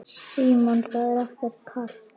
Símon: Það er ekkert kalt?